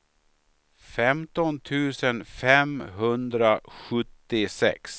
femton tusen femhundrasjuttiosex